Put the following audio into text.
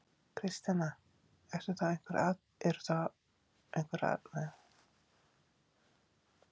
Kristjana: Eru þá einhver atriði sem að, sem að þið eigið eftir að skoða betur?